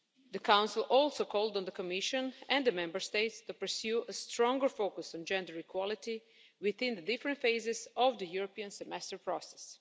The Council also called on the Commission and the Member States to pursue a stronger focus on gender equality within the different phases of the European Semester process.